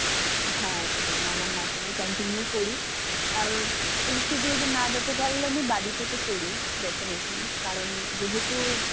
হ্যাঁ, একদম. আমার নাচ আমি continue করি. ইয়াব institute এ না যেতে পারলেও আমি বাড়িতে তো করিই. defenately. কারণ যেহেতু